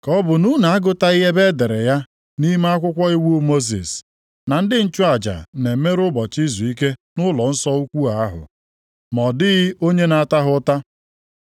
Ka ọ bụ na unu agụtabeghị ebe e dere ya nʼime akwụkwọ iwu Mosis na ndị nchụaja na-emerụ ụbọchị izuike nʼụlọnsọ ukwu ahụ, ma ọ dịghị onye na-ata ha ụta?